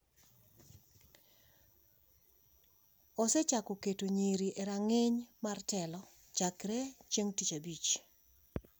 osechako keto nyiri e rang’iny mar telo chakre e chieng’ tich abich.